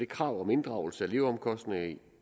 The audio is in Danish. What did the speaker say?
krav om inddragelse af leveomkostninger